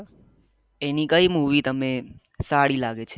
એની કઈ મુવી તમે સારી લાગે છે